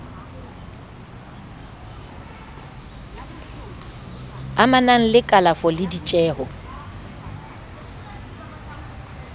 amanang le kalafo le ditjeho